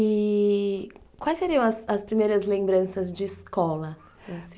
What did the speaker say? i-i quais seriam as as primeiras lembranças de escola?